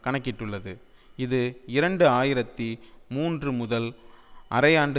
கணக்கிட்டுள்ளது இது இரண்டு ஆயிரத்தி மூன்று முதல் அரையாண்டு